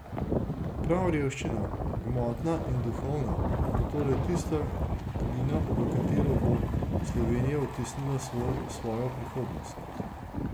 Prav revščina, gmotna in duhovna, bo torej tista glina, v katero bo Slovenija odtisnila svojo prihodnost.